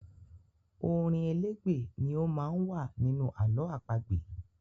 Orin elégbè ni ó má ń wà nínú àlọ́ àpagbè.